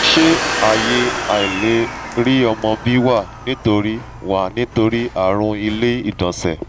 ṣé aye aileri omo bi wa nitori wa nitori arun ile igbonse?